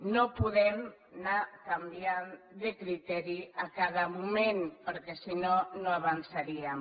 no podem anar canviant de criteri a cada moment perquè sinó no avançaríem